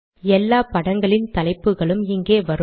எல்லா படங்களின் தலைப்புகளும் இங்கே வரும்